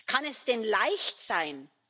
Kann es denn leicht sein?